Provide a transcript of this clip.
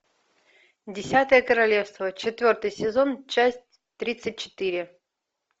десятое королевство четвертый сезон часть тридцать четыре